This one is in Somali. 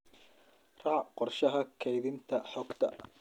Raac qorshaha kaydinta xogta